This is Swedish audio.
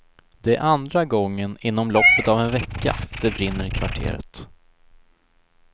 Det är andra gången inom loppet av en vecka det brinner i kvarteret.